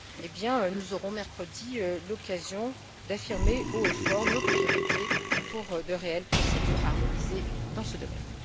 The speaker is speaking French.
Eh bien, nous aurons mercredi l'occasion d'affirmer haut et fort nos priorités pour de réelles procédures harmonisées dans ce domaine.